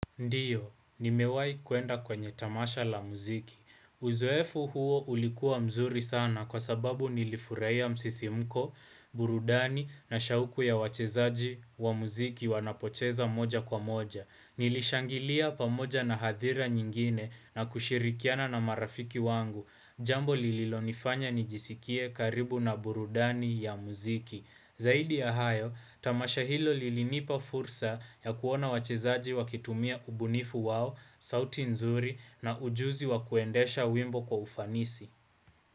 Ndiyo, nimewahi kuenda kwenye tamasha la muziki. Uzuefu huo ulikuwa mzuri sana kwa sababu nilifurahia msisimko, burudani na shauku ya wachezaji wa muziki wanapocheza moja kwa moja. Nilishangilia pamoja na hadhira nyingine na kushirikiana na marafiki wangu. Jambo lililonifanya nijisikie karibu na burudani ya muziki. Zaidi ya hayo, tamasha hilo lilinipa fursa ya kuona wachezaji wakitumia ubunifu wao, sauti nzuri na ujuzi wakuendesha wimbo kwa ufanisi.